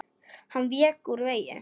Hann vék ekki úr vegi.